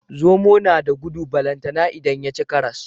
Zomo nada gudu balantana idan yaci karas